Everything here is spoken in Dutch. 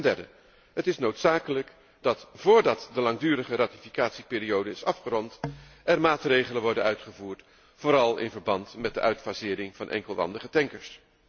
Ten derde, het is noodzakelijk dat voordat de langdurige ratificatieperiode is afgerond er maatregelen worden uitgevoerd vooral in verband met de uitfasering van enkelwandige tankers.